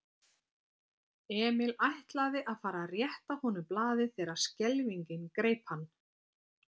Emil ætlaði að fara að rétta honum blaðið þegar skelfingin greip hann.